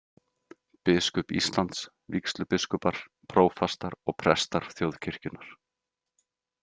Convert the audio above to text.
Biskup Íslands, vígslubiskupar, prófastar og prestar þjóðkirkjunnar.